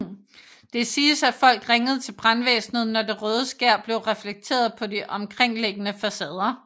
Det siges at folk ringede til brandvæsenet når det røde skær blev reflekteret på de omkringliggende facader